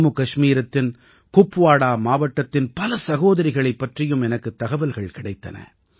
ஜம்முகஷ்மீரத்தின் குப்வாடா மாவட்டதின் பல சகோதரிகளைப் பற்றியும் எனக்குத் தகவல்கள் கிடைத்தன